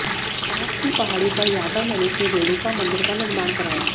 पास की पहाड़ी पर यादव नरेश ने रेणुका मंदिर का निर्माण कराया